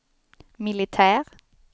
militär